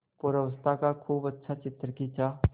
पूर्वावस्था का खूब अच्छा चित्र खींचा